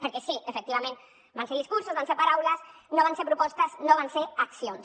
perquè sí efectivament van ser discursos van ser paraules no van ser propostes no van ser accions